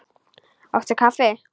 Áttu kaffi?